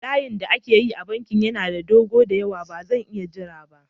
Layin da ake yi a bankin yana da dogo da yawa, ba zan iya jira ba.